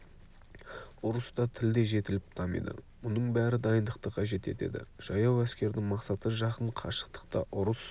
ұрыста тіл де жетіліп дамиды мұның бәрі дайындықты қажет етеді жаяу әскердің мақсаты жақын қашықтықта ұрыс